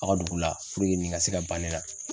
A ka dugu la nin ka se ka ban ne la.